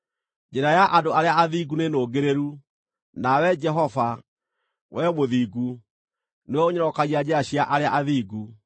Njĩra ya andũ arĩa athingu nĩ nũngĩrĩru; nawe Jehova, Wee Mũthingu, nĩwe ũnyorokagia njĩra cia arĩa athingu.